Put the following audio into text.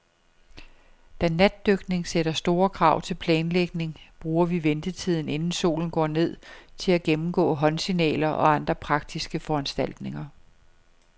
Da natdykning sætter store krav til planlægning, bruger vi ventetiden, inden solen går ned, til at gennemgå håndsignaler og andre praktiske foranstaltninger.